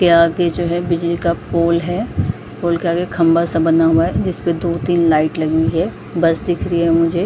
यहां के जो है बिजली का पोल है पोल के आगे खंभा-सा बना हुआ है जिसमें दो-तीन लाइट लगी हुई है बस दिख रही है मुझे।